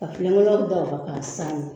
Ka kelen wɛrɛ da o kan k'a saani